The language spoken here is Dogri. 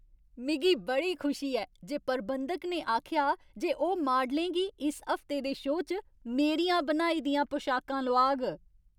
मिगी बड़ी खुशी ऐ जे प्रबंधक ने आखेआ जे ओह् मॉडलें गी इस हफ्ते दे शो च मेरियां बनाई दियां पोशाकां लोआग।